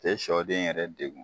Te sɔden yɛrɛ degun